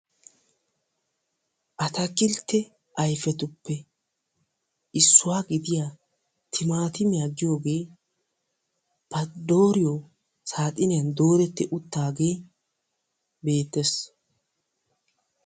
Attakilte ayfiyetuppe issuwaa gididdiya timattimiyaa giyogge ba dooriyo saaxiniyan dooretti uttagge beettes.